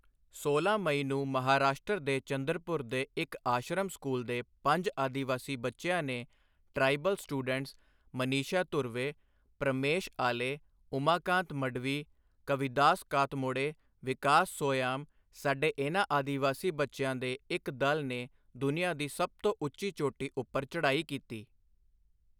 ਸੋਲਾਂ ਮਈ ਨੂੰ ਮਹਾਂਰਾਸ਼ਟਰ ਦੇ ਚੰਦਰਪੁਰ ਦੇ ਇੱਕ ਆਸ਼ਰਮ ਸਕੂਲ ਦੇ ਪੰਜ ਆਦਿਵਾਸੀ ਬੱਚਿਆਂ ਨੇ ਟਰਾਈਬਲ ਸਟੂਡੈਂਟਸ ਮਨੀਸ਼ਾ ਧੁਰਵੇ, ਪ੍ਰਮੇਸ਼ ਆਲੇ, ਉਮਾਕਾਂਤ ਮਡਵੀ, ਕਵਿਦਾਸ ਕਾਤਮੋੜੇ, ਵਿਕਾਸ ਸੋਯਾਮ, ਸਾਡੇ ਇਨ੍ਹਾਂ ਆਦਿਵਾਸੀ ਬੱਚਿਆਂ ਦੇ ਇੱਕ ਦਲ ਨੇ ਦੁਨੀਆਂ ਦੀ ਸਭ ਤੋਂ ਉੱਚੀ ਚੋਟੀ ਉੱਪਰ ਚੜ੍ਹਾਈ ਕੀਤੀ।